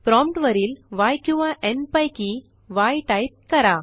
prompt वरील य किंवा न् पैकी य टाईप करा